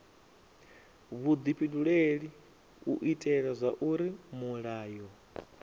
vhudifhinduleli u itela zwauri mulayo